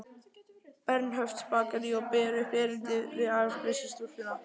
Bernhöftsbakaríi og ber upp erindið við afgreiðslustúlkuna.